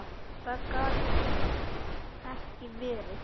Það gat ekki verið.